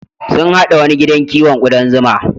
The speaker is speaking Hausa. Sun haɗa wani gidan kiwon ƙudan zuma.